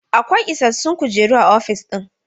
Akwai ishashshun kujeru a ofis ɗin?